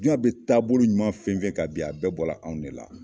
Jiɲɛ bi taabolo ɲuman fɛn fɛn kan bi, a bɛɛ bɔla anw de la.